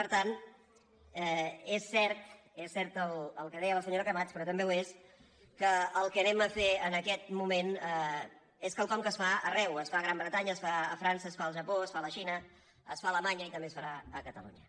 per tant és cert és cert el que deia la senyora camats però també ho és que el que farem en aquest moment és quelcom que es fa arreu es fa a gran bretanya es fa a frança es fa al japó es fa a la xina es fa a alemanya i també es farà a catalunya